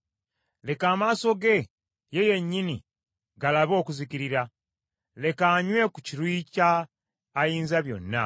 Leka amaaso ge ye yennyini galabe okuzikirira; leka anywe ku kiruyi kya Ayinzabyonna.